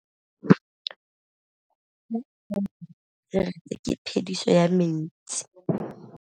Fa pula e nelê serêtsê ke phêdisô ya metsi.